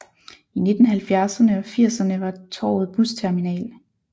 I 1970erne og 80erne var torvet busterminal